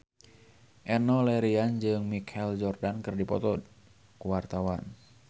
Enno Lerian jeung Michael Jordan keur dipoto ku wartawan